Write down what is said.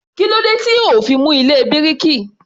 Kílódé tí ò ó fi mú ilé bíríkì?